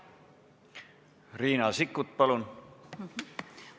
Riina Sikkut, palun!